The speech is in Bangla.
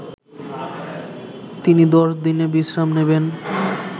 তিনি দশ দিন বিশ্রাম নেবেন